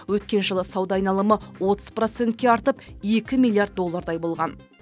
өткен жылы сауда айналымы отыз процентке артып екі миллиард доллардай болған